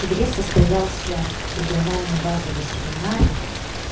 в октябре состоялся региональный базовый семинар